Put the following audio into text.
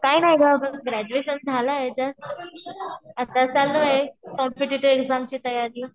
काय नाही गं ग्रॅडज्युएशन झालंय जस्ट आता चालू आहे, कॉम्पिटेटिव्ह एक्झामची तयारी.